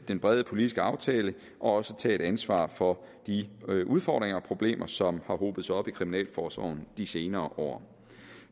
den brede politiske aftale og også tage et ansvar for de udfordringer og problemer som har hobet sig op i kriminalforsorgen de senere år